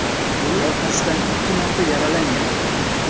U orqasidan ikki marta yaralangandi.